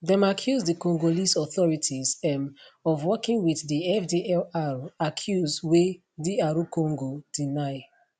dem accuse di congolese authorities um of working wit di fdlr accuse wey dr congo deny